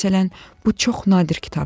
Məsələn, bu çox nadir kitabdır.